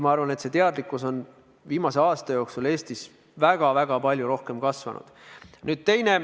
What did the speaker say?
Ma arvan, et see teadlikkus on viimase aasta jooksul Eestis väga palju tõusnud.